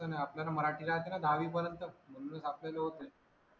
पण आपल्याला मराठी राहते ना दहावीपर्यंत म्हणूनच आपल्याला होते